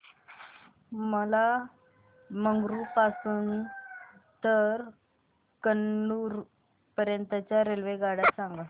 मला मंगळुरू पासून तर कन्नूर पर्यंतच्या रेल्वेगाड्या सांगा